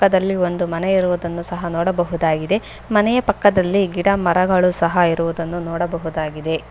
ಅದಲ್ಲಿ ಒಂದು ಮನೆ ಇರುವುದನ್ನು ಸಹ ನೋಡಬಹುದಾಗಿದೆ ಮನೆಯ ಪಕ್ಕದಲ್ಲಿ ಗಿಡ ಮರಗಳು ಸಹ ಇರುವುದನ್ನು ನೋಡಬಹುದಾಗಿದೆ.